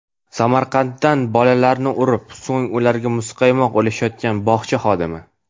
Samarqanddan Bolalarni urib, so‘ng ularga muzqaymoq ulashayotgan bog‘cha xodimi.